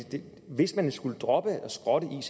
hvis man skulle droppe og skrotte